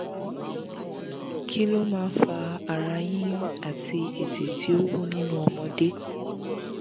kí ló máa ń fa ara yiyun àti ètè tí ó wú nínú ọmọdé?